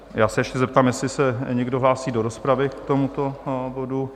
Já se ještě zeptám, jestli se někdo hlásí do rozpravy k tomuto bodu?